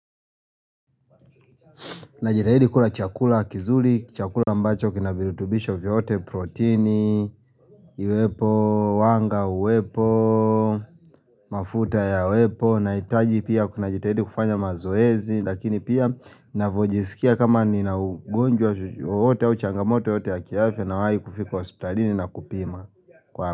Najitahidi kula chakula kizuri, chakula ambacho kina virutubisho vyote protini, uwepo, wanga uwepo, mafuta yawepo, nahitaji pia kuna jitahidi kufanya mazoezi lakini pia ninavyyojisikia kama ninaugonjwa wowote au changamoto yoyote ya kiafya nawahi kufika hospitalini na kupima.